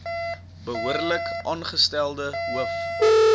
behoorlik aangestelde hoof